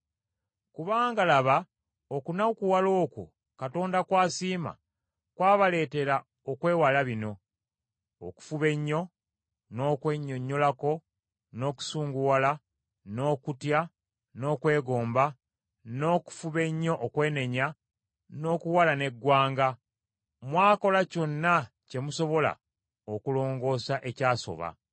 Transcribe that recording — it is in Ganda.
Kubanga laba okunakuwala okwo Katonda kw’asiima kwabaleetera okwewala bino: okufuba ennyo, n’okwennyonnyolako, n’okusunguwala, n’okutya, n’okwegomba, n’okufuba ennyo okwenenya, n’okuwalana eggwanga. Mwakola kyonna kye musobola okulongoosa ekyasoba.